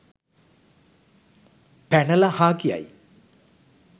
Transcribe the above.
පැනලා හා කියයි